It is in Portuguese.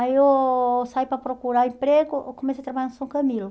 Aí eu saí para procurar emprego, eu comecei a trabalhar no São Camilo.